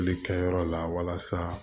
Tile kɛyɔrɔ la walasa